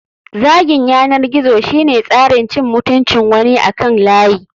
Zagin yanar gizo shine tsarin cin mutuncin wani akan layi.